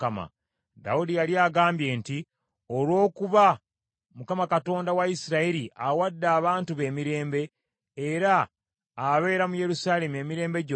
Dawudi yali agambye nti, “Olw’okuba Mukama Katonda wa Isirayiri, awadde abantu be emirembe, era abeera mu Yerusaalemi emirembe gyonna,